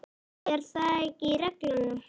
Er það ekki í reglunum?